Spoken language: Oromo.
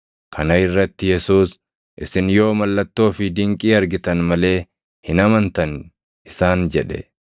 Kana irratti Yesuus, “Isin yoo mallattoo fi dinqii argitan malee hin amantan!” isaan jedhe.